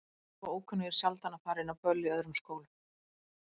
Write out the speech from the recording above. Svo fá ókunnugir sjaldan að fara inn á böll í öðrum skólum.